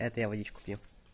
это я водичку пью